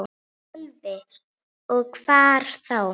Sölvi: Og hvar þá?